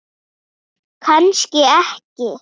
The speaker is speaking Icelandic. Kannski ekki.